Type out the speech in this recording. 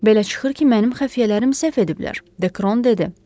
Belə çıxır ki, mənim xəfiyyələrim səhv ediblər, Dekron dedi.